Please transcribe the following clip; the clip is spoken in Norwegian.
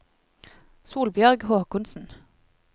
Solbjørg Håkonsen